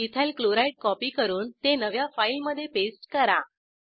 ethyl chloride copy करून ते नव्या फाईल मधे पेस्ट करा